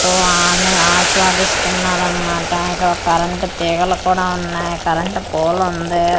తో ఆన ఆస్వాదిస్తున్నారు అన్నమాట ఇక్కడ ఒక కరెంట్ తీగలు కూడా ఉన్నాయి కరెంట్ పోల్ ఉంది.